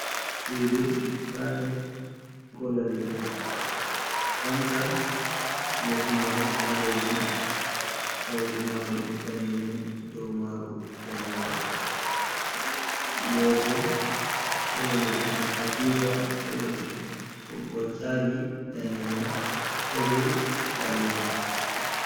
Sudu capet kolo leɗdi, fanka les maru balejum sauru maru danejum ɗou maru danejum. Lésoh kolo leɗdi, katifa kolo leɗdi ɓoggol chàji danejum kebùl baleru.